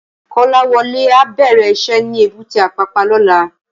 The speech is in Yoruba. Kolawole á bèrè iṣè ni ébùté Apapa lòlá